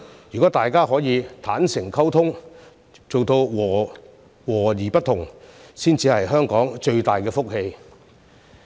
如果大家可以坦誠溝通，做到和而不同，才是香港最大的福氣。